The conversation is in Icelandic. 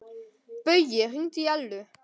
Baui, hringdu í Ellu.